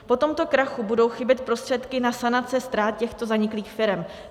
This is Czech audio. Po tomto krachu budou chybět prostředky na sanaci ztrát těchto zaniklých firem.